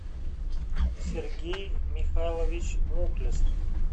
сергей михайлович мухлес